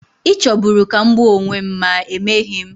Ị chọburu ka m gbuo onwe m, ma emeghị m.